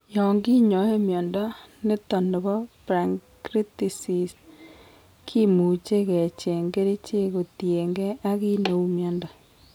Yoon kinyae mnyondo niton nebo pancreatisis, kimuche kechengchi kerichek kotien gee ak ki neuu mnyondo